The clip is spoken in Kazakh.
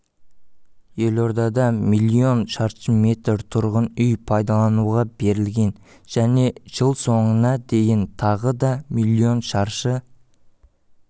елордада миллион шаршы метр тұрғын үй пайдалануға берілген және жылсоңына дейін тағы да миллион шаршы